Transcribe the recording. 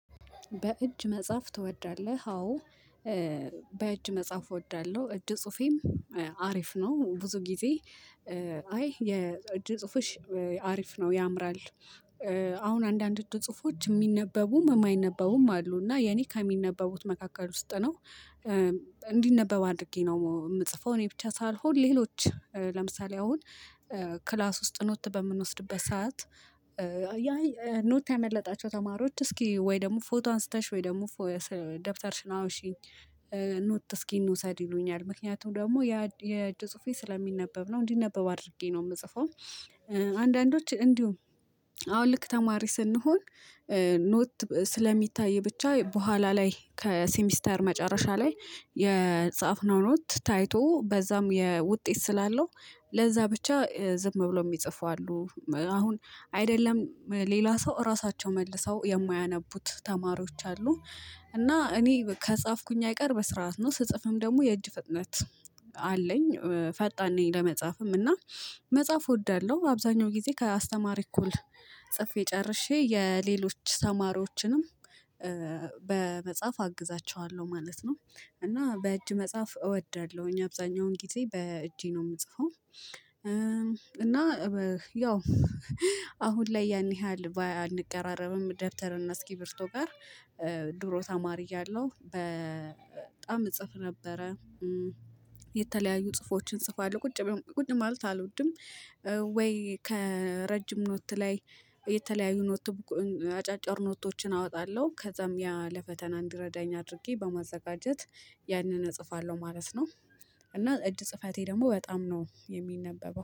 በእጅ መጻፍ ትወዳለህ? አዎ በእጅ መጻፍ እወዳለሁ እጅ ጽሁፌም አሪፍ ነው። ብዙ ጊዜ አይ የጽሁፍሽ አሪፍ ነው ያምራል። አሁን አንዳንድ እጅ ጽሁፎች የሚነበቡም የማይነበቡም አሉ እና የኔ ከሚነበቡት መካከል ውስጥ ነው። እንዲነበብ አድርጌ ነው ምጽፈው እኔ ብቻ ሳልሆን ሌሎች ለምሳሌ አሁን ክላስ ውስጥ ኖት በምንወስድበት ሰዓት። ኖት ያመለጣቸው ተማሪዎች እስኪ ወይ ደግሞ ፎቶ አንስተሽ ወይ ደግሞ ፎቶ ደብተርሽ ነው አዎሺኝ። ኖት እስኪ እንውሰድ ይሉኛል ምክንያቱም ደግሞ የእጅ ጽሁፌ ስለሚነበብ ነው እንዲነበብ አድርጌ ነው ምጽፈው። አንዳንዶች እንዲሁ አሁን ልክ ተማሪ ስንሆን። ኖት ስለሚታይ ብቻ በኋላ ላይ ከሲሚስተር መጨረሻ ላይ የጻፍነው ኖት ታይቶ በዛም ውጤት ስላለው ለዛ ብቻ ዝም ብሎ የሚጽፈው አሉ። አሁን አይደለም ሌላ ሰው እራሳቸው መልሰው የማያነቡት ተማሪዎች አሉ። እና እኔ ከጻፍኩኝ አይቀር በስርዓት ነው ስጽፍም ደግሞ የእጅ ፍጥነት አለኝ ፈጣን ነኝ ለመጻፍም እና። መጻፍ እወዳለሁ አብዛኛው ጊዜ ከአስተማሪ እኮ ጽፌ ጨርሼ የሌሎች ተማሮችንም በመጻፍ አግዛቸዋለሁ ማለት ነው። እና በእጅ መጻፍ እወዳለሁኝ አብዛኛውን ግዜ በእጄ ነው የምጽፈው። እና ያው አሁን ላይ ያን ያህል አንቀራረብም ደብተር እና እስኪብርቶ ጋር። ድሮ ተማሪ እያለሁ በጣም እጽፍ ነበረ። የተለያዩ ጽፎችን ጽፏል ቁጭ ብለን ቁጭ ማለት አልወድም። ወይ ከረጅም ኖት ላይ የተለያዩ ኖት። አጫጭር ኖቶችን አወጣለሁ ከዛም ያ ለፈተና እንዲረዳኝ አድርጌ በማዘጋጀት ያንን እጽፋለሁ ማለት ነው። እና እጅ ጽፋቴ ደግሞ በጣም ነው የሚነበበው